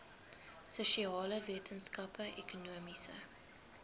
sosiale wetenskappe ekonomiese